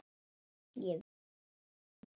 Ég vinn eftir reglum.